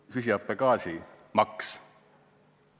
Või süsihappegaasimaks.